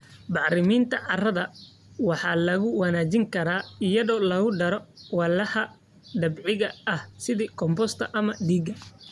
Bacriminta carrada waxaa lagu wanaajin karaa iyadoo lagu daro walxaha dabiiciga ah sida compost ama digada.